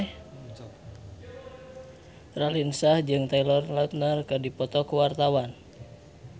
Raline Shah jeung Taylor Lautner keur dipoto ku wartawan